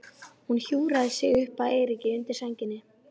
Hún hjúfraði sig upp að Eiríki undir sænginni.